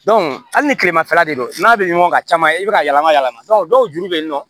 hali ni tilemafɛla de don n'a bɛ ɲɔgɔn kan caman i bɛ ka yɛlɛma yɛlɛma dɔw julu bɛ yen nɔ